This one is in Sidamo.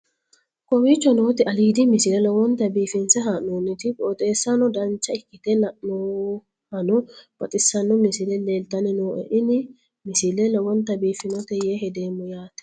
kowicho nooti aliidi misile lowonta biifinse haa'noonniti qooxeessano dancha ikkite la'annohano baxissanno misile leeltanni nooe ini misile lowonta biifffinnote yee hedeemmo yaate